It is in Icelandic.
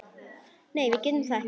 Nei, við getum það ekki.